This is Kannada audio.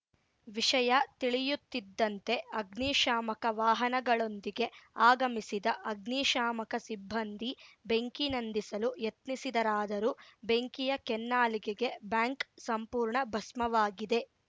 ವಿಷಯ ತಿಳಿಯುತ್ತಿದ್ದಂತೆ ಅಗ್ನಿ ಶಾಮಕ ವಾಹನಗಳೊಂದಿಗೆ ಆಗಮಿಸಿದ ಅಗ್ನಿಶಾಮಕ ಸಿಬ್ಬಂದಿ ಬೆಂಕಿ ನಂದಿಸಲು ಯತ್ನಿಸಿದರಾದರೂ ಬೆಂಕಿಯ ಕೆನ್ನಾಲಿಗೆಗೆ ಬ್ಯಾಂಕ್‌ ಸಂಪೂರ್ಣ ಭಸ್ಮವಾಗಿದೆ